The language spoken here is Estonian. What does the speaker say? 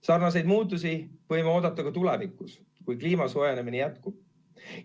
Sarnaseid muudatusi võime oodata ka tulevikus, kui kliima soojenemine jätkub.